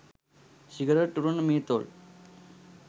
cigarette උරන මේ තොල්